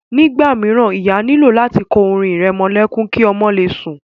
Nígbà míràn, ìyá nílò láti kọ orin ìrẹmọlẹ́kún ki ọmọ le sùn.